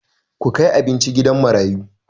Ku kai abincin gidan marayu!